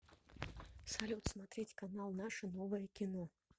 салют смотреть канал наше новое кино